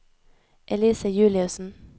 Elise Juliussen